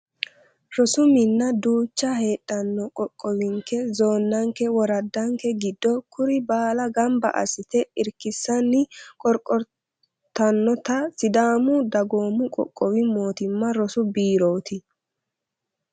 Rosu mina duucha heedhano qoqqowinke zoonenke woraddanke giddo kuri baalla gamba assite irkisanni qorqortanotta sidaamu dagoomu qoqqowi mootimma rosu biiroti.